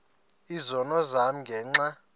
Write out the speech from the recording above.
izono zam ngenxa